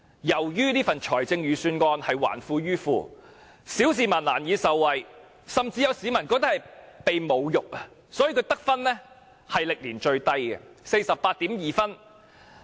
由於這份預算案還富於富，小市民難以受惠，甚至有市民感覺被侮辱，所以預算案的得分歷年最低，是 48.2 分。